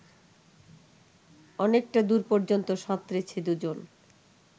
অনেকটা দূর পর্যন্ত সাঁতরেছে দুজন